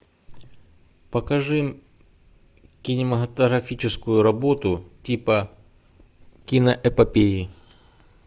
покажи кинематографическую работу типа киноэпопеи